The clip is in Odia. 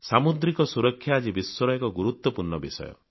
ସାମୁଦ୍ରିକ ସୁରକ୍ଷା ଆଜି ବିଶ୍ବର ଏକ ଗୁରୁତ୍ୱପୂର୍ଣ୍ଣ ବିଷୟ